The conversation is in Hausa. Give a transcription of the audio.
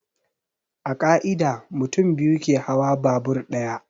A ƙa'ida, mutum biyu ke hawa babur ɗaya.